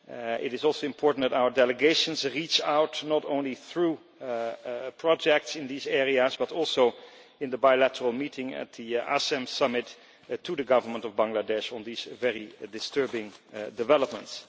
It is also important that our delegations reach out not only through projects in these areas, but also in the bilateral meeting at the ASEM Summit, to the Government of Bangladesh on these very disturbing developments.